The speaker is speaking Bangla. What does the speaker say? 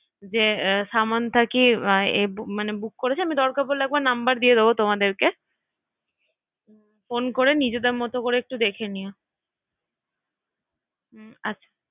সামান্থা কি বুক করেছে মানে দরকার পড়লে একবার নাম্বার দিয়ে দেব তোমাদেরকে হ্যাঁ হ্যাঁ ফোন করে একটু নিজেদের মতো করে একটু দেখে নিও রাহুলদার নাম্বার আমার কাছেও আছে হ্যাঁ হ্যাঁ রাহুলদার নাম্বার